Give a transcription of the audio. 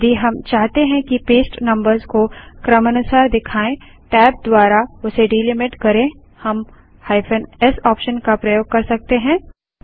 यदि हम चाहते हैं कि पेस्ट नम्बर्स को क्रमानुसार दिखाए टैब द्वारा उसे डीलिमिट करें हम -s ऑप्शन का प्रयोग कर सकते हैं